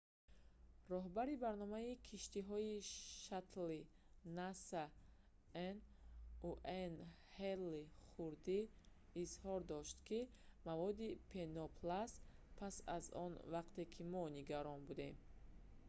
роҳбари барномаи киштиҳои шаттли наса nasa н. уэйн ҳейли хурдӣ изҳор дошт ки маводи пенопласт пас аз он вақте ки мо нигарон будем